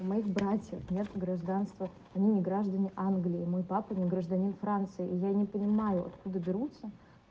у моих братьев нет гражданства они не граждане англии мой папа не гражданин франции и я не понимаю откуда берутся